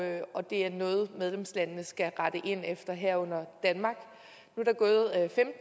det er noget medlemslandene skal rette ind efter herunder danmark